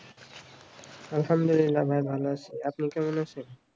আলহামদুলিল্লাহ ভাই ভালো আছি আপনি কেমন আছেন